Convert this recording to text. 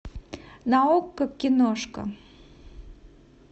на окко киношка